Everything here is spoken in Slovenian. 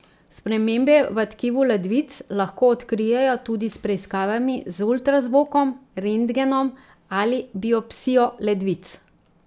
Spremembe v tkivu ledvic lahko odkrijejo tudi s preiskavami z ultrazvokom, rentgenom ali biopsijo ledvic.